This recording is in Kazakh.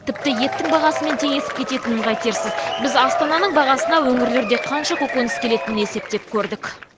тіпті еттің бағасымен теңесіп кететінін қайтерсіз біз астананың бағасына өңірлерде қанша көкөніс келетінін есептеп көрдік